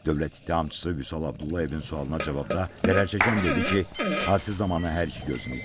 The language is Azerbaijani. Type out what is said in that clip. Dövlət ittihamçısı Vüsal Abdullayevin sualına cavabda zərər çəkən dedi ki, hadisə zamanı hər iki gözünü itirib.